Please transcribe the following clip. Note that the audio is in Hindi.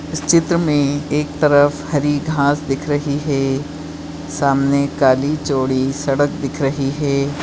इस चित्र मे एक तरफ़ हरी घास दिख रही है सामने काली सडक है।